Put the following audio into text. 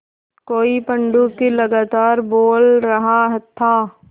कोई पंडूक लगातार बोल रहा था